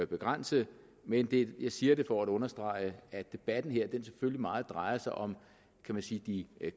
begrænse men jeg siger det for at understrege at debatten her selvfølgelig meget drejer sig om kan man sige de